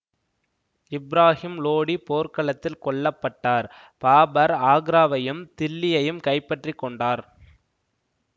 இப்ராகிம் லோடி போர்க்களத்தில் கொல்ல பட்டார் பாபர் ஆக்ராவையும் தில்லியையும் கைப்பற்றி கொண்டார்